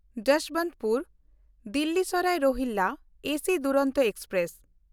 Jaswantpur Delhi Sarai Rohilla AC Duronto express